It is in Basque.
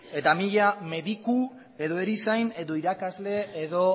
eta mila mediku edo erizain edo irakasle edo